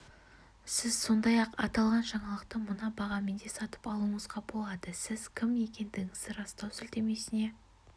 сіз сондай-ақ аталған жаңалықты мына бағамен де сатып алуыңызға болады сіз кім екендігіңізді растау сілтемесіне